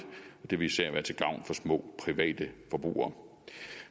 og det vil især være til gavn for små private forbrugere